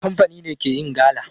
Kamfani ne ke yin gala.